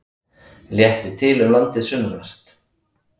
Léttir til um landið sunnanvert